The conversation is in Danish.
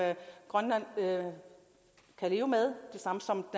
grønland kan leve med og som